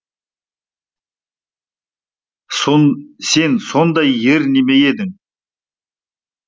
сон сен сондай ер неме ме едің